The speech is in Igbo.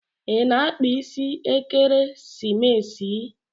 I na-akpa isi ekeresimesi?